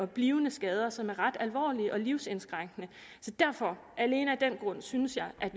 blivende skader som er ret alvorlige og livsindskrænkende så derfor synes jeg at